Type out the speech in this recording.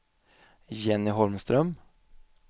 Jenny Holmström